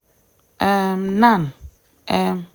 um nan um